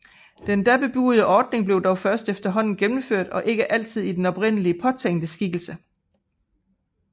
Den da bebudede ordning blev dog først efterhånden gennemført og ikke altid i den oprindeligt påtænkte skikkelse